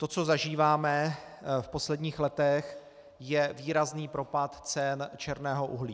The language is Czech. To, co zažíváme v posledních letech, je výrazný propad cen černého uhlí.